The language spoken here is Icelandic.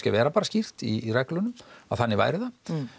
vera bara skýrt í reglunum að þannig væri það